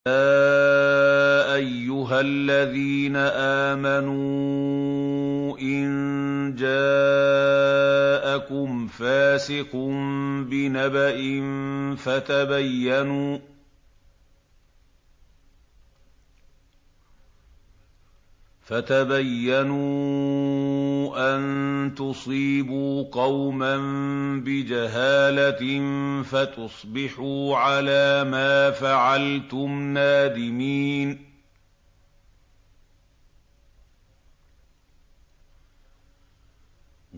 يَا أَيُّهَا الَّذِينَ آمَنُوا إِن جَاءَكُمْ فَاسِقٌ بِنَبَإٍ فَتَبَيَّنُوا أَن تُصِيبُوا قَوْمًا بِجَهَالَةٍ فَتُصْبِحُوا عَلَىٰ مَا فَعَلْتُمْ نَادِمِينَ